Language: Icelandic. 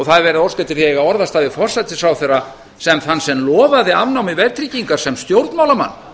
það er verið að óska eftir því að eiga orðastað við forsætisráðherra sem þann sem lofaði afnámi verðtryggingar sem stjórnmálamann